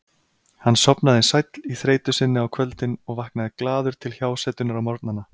Hann sofnaði sæll í þreytu sinni á kvöldin og vaknaði glaður til hjásetunnar á morgnana.